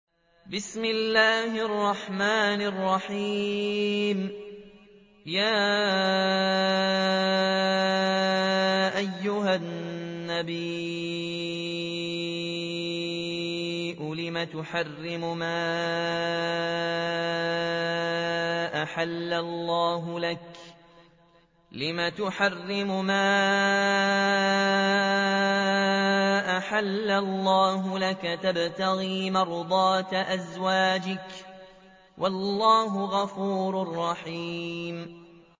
يَا أَيُّهَا النَّبِيُّ لِمَ تُحَرِّمُ مَا أَحَلَّ اللَّهُ لَكَ ۖ تَبْتَغِي مَرْضَاتَ أَزْوَاجِكَ ۚ وَاللَّهُ غَفُورٌ رَّحِيمٌ